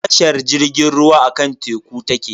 Tashar jirgin ruwa akan teku take.